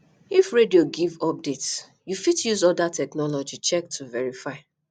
if radio give update you fit use oda technology check to verify